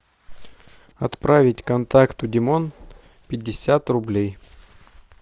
отправить контакту димон пятьдесят рублей